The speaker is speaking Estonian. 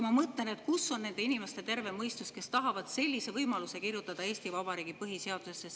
Ma mõtlen, kus on nende inimeste terve mõistus, kes tahavad sellise võimaluse kirjutada Eesti Vabariigi põhiseadusesse.